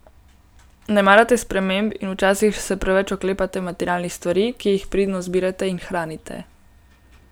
Ne marate sprememb in včasih se preveč oklepate materialnih stvari, ki jih pridno zbirate in hranite.